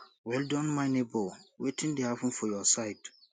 well Accepted my nebor wetin dey happen for your side